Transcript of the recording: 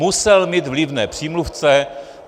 Musel mít vlivné přímluvce.